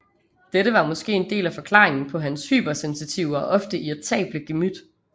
Dette var måske en del af forklaringen på hans hypersensitive og ofte irritable gemyt